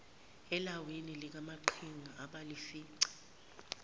elawini likamaqhinga abalifica